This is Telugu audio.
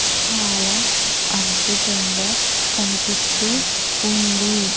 చాలా అద్భుతంగా కనిపిస్తూ ఉంది.